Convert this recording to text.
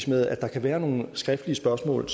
med at der kan være nogle skriftlige spørgsmål